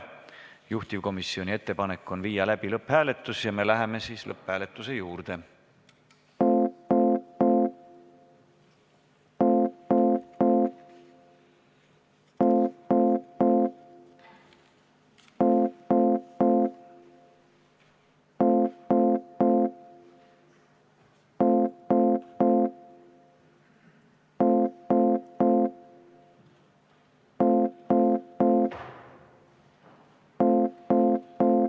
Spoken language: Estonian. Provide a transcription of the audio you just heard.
Juhtivkomisjoni ettepanek on viia läbi lõpphääletus ja me läheme lõpphääletuse juurde.